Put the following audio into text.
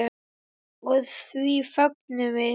Og því fögnum við.